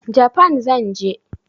Japan zan je.